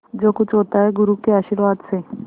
जो कुछ होता है गुरु के आशीर्वाद से